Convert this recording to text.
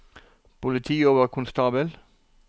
politioverkonstabel